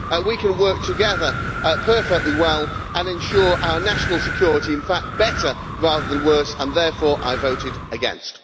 We can work together perfectly well and ensure our national security, in fact better rather than worse, and therefore I voted against.